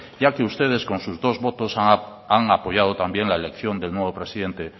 ya que ustedes con sus dos votos han apoyado también la elección del nuevo presidente